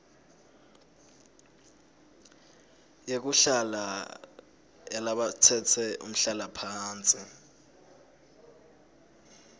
yekuhlala yalabatsetse umhlalaphansi